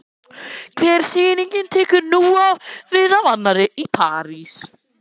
Hver sýningin tekur nú við af annarri- Í París